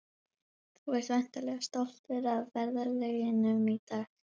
Þú ert væntanlega stoltur af verðlaununum í dag?